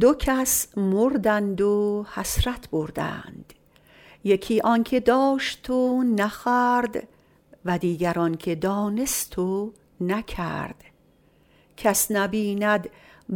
دو کس مردند و حسرت بردند یکی آن که داشت و نخورد و دیگر آن که دانست و نکرد کس نبیند